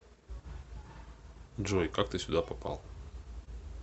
джой как ты сюда попал